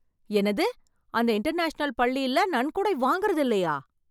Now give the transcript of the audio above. என்னது! அந்த இன்டர்நேஷனல் பள்ளியில நன்கொடை வாங்குறது இல்லையா